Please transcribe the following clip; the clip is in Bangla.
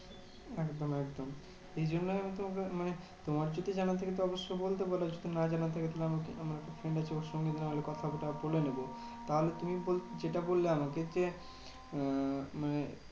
একদম একদম ওই জন্যেই আমি তোমাকে মানে তোমার যদি জানা থাকে অবশ্যই বলতে পারো। যদি না জানা থাকে তুমি আমাকে আমাকে কোনটা ওর সঙ্গে নাহলে কথাটা বলে নেবে। তাহলে তুমি বলছো যেটা বললে আমাকে যে, উম মানে